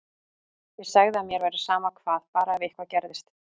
Ég sagði að mér væri sama hvað, bara ef eitthvað gerðist.